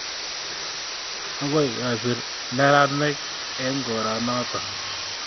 Akoi kosir meranik eng' koro notok